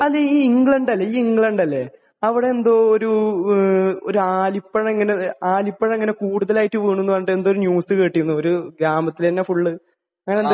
അതേ. നീ ഇംഗ്ലണ്ട് നീ ഇംഗ്ലണ്ട് അല്ലെ? അവിടെ എന്താ ഒരു ഏഹ് ഒരു ആലിപ്പഴം ഇങ്ങനെ ആലിപ്പഴം ഇങ്ങനെ കൂടുതലായിട്ട് വീണു എന്ന് പറഞ്ഞിട്ട് എന്തോ ഒരു ന്യൂസ് കേട്ടിരുന്നു. ഒരു ഗ്രാമത്തിൽ തന്നെ ഫുൾ. അങ്ങനെ എന്തൊക്കെയോ.